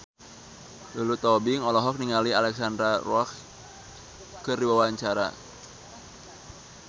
Lulu Tobing olohok ningali Alexandra Roach keur diwawancara